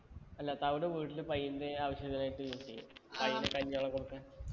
അല്ല തവിട് വീട്ടില് പൈന്റെ ആവശ്യത്തിനായിട്ട് use എയ്യും അയിന് കഞ്ഞി വെള്ളം കൊടുക്കാൻ